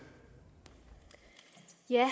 jeg